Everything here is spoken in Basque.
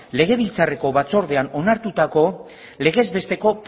legebiltzarreko batzordean onartutako legez besteko